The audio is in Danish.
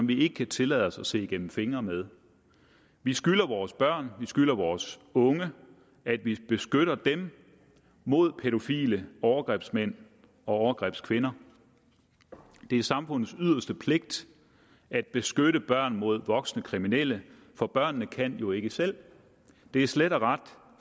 vi ikke tillade os at se igennem fingre med vi skylder vores børn vi skylder vores unge at vi beskytter dem mod pædofile overgrebsmænd og overgrebskvinder det er samfundets yderste pligt at beskytte børn mod voksne kriminelle for børnene kan jo ikke selv de er slet og ret